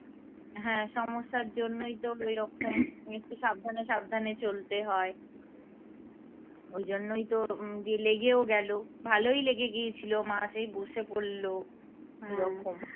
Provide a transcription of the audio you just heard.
হ্যাঁ সমস্যার জন্যই তো ওইরকম একটু সাবধানে সাবধানে চলতে হয় ওই জন্যই তো যে লেগেও গেল ভালই লেগে গিয়েছিল মা সেই বসে পরল ওইরকম